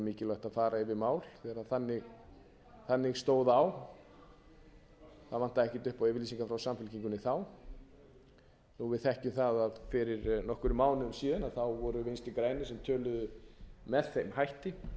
að fara yfir mál ef þannig stóð á það vantaði ekkert upp á yfirlýsingar frá samfylkingunni þá þó við þekkjum það að fyrir nokkrum mánuðum síðan voru vinstri grænir sem töluðu með þeim hætti en